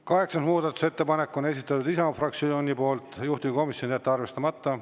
Kaheksas muudatusettepanek, esitanud Isamaa fraktsioon, juhtivkomisjon: jätta arvestamata.